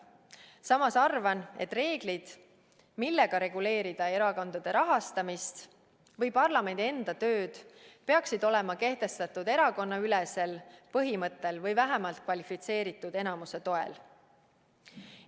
Samas arvan, et reeglid, millega reguleerida erakondade rahastamist või parlamendi enda tööd, peaksid olema kehtestatud erakonnaülesel põhimõttel või vähemalt kvalifitseeritud enamuse toel.